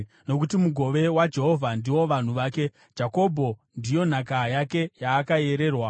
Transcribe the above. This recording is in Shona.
Nokuti mugove waJehovha ndivo vanhu vake, Jakobho ndiyo nhaka yake yaakayererwa.